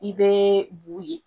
I be bu ye.